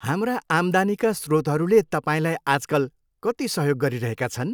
हाम्रा आम्दानीका स्रोतहरूले तपाईँलाई आजकल कति सहयोग गरिरहेका छन्?